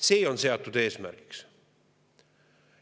See on seatud eesmärgiks.